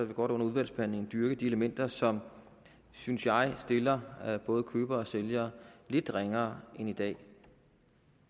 vil godt under udvalgsbehandlingen dyrke de elementer som synes jeg stiller både køber og sælger lidt ringere end i dag